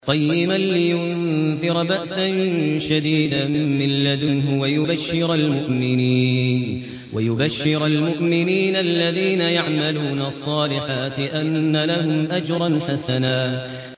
قَيِّمًا لِّيُنذِرَ بَأْسًا شَدِيدًا مِّن لَّدُنْهُ وَيُبَشِّرَ الْمُؤْمِنِينَ الَّذِينَ يَعْمَلُونَ الصَّالِحَاتِ أَنَّ لَهُمْ أَجْرًا حَسَنًا